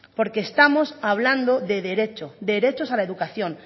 porque estamos hablando de derecho derechos a la educación